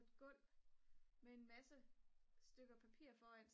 på et gulv med en masse stykker papir foran